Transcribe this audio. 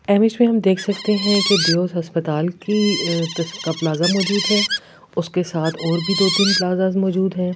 Image में हम देख सकते हैं कि दियोस अस्पताल की का प्लाजा मौजूद है उसके साथ और भी दो-तीन प्लाजाज मौजूद हैं।